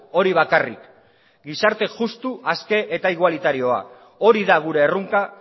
hori bakarrik gizarte justu aske eta igualitarioa hori da gure erronka